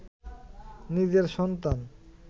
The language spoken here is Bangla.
নিজের সন্তান